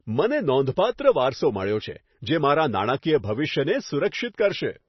મને નોંધપાત્ર વારસો મળ્યો છે, જે મારા નાણાકીય ભવિષ્યને સુરક્ષિત કરશે.